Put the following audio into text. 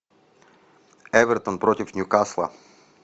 эвертон против ньюкасла